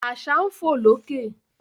Àṣà ń fò lókè